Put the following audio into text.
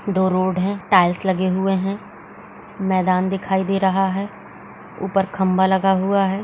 दो रोड हैं टाइल्स लगे हुए हैं | मैदान दिखाई दे रहा है | ऊपर खम्भा लगा हुआ है |